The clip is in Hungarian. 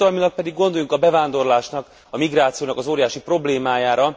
És társadalmilag gondoljunk a bevándorlásnak, a migrációnak az óriási problémájára.